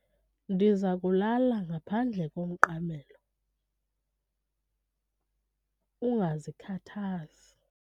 Ndiza kulala ngaphandle komqamelo, ungazikhathazi.